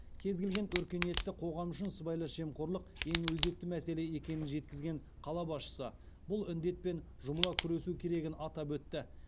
кез келген өркениетті қоғам үшін сыбайлас жемқорлық ең өзекті мәселе екенін жеткізген қала басшысы бұл індетпен жұмыла күресу керегін атап өтті